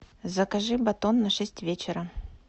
закажи батон на шесть вечера